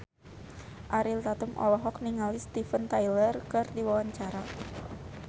Ariel Tatum olohok ningali Steven Tyler keur diwawancara